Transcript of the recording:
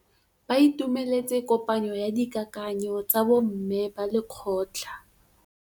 Ba itumeletse kôpanyo ya dikakanyô tsa bo mme ba lekgotla.